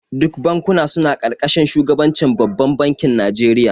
Duk bankuna suna karkashin shugabancin babbar bankin Najeriya